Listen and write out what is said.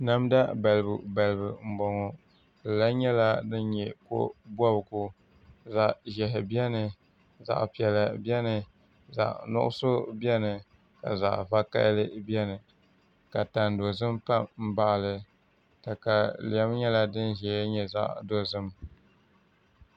Namda balibu balibu n bɔŋɔ di lahi nyɛla din nyɛ ko bobgu zaɣ ʒiɛhi biɛni zaɣ piɛla biɛni zaɣ nuɣso biɛni ka zaɣ vakaɣali biɛni ka tani dozim pa n baɣali katalɛm nyɛla din ʒɛ dinni nyɛ zaɣ dozim